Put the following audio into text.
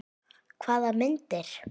Hvaða myndir?